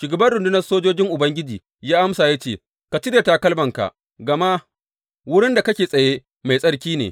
Shugaban rundunar sojojin Ubangiji ya amsa ya ce, Ka cire takalmanka, gama wurin da kake tsaye, mai tsarki ne.